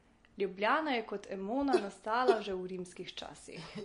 Ljubljana je kot Emona nastala že v rimskih časih.